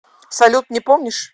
салют не помнишь